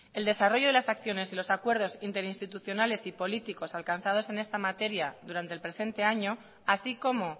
el desarrollo de las acciones y los acuerdos interinstitucionales y políticos alcanzados en esta materia durante el presente año así como